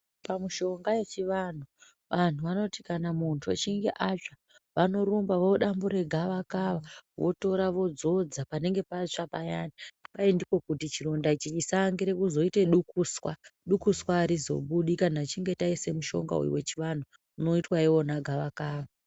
Pamishonga yechivantu vantu vanoti kana muntu achinge atsva vanorumba vodambure gavakava votora vodzodza panenge patsva payani kwai ndiko kuti chironda ichi chisaaangire kuzoite dukuswa, dukuswa arizobudi kana tichinge taise mushonga uyu wechivantu unoitwa iwina gavakava.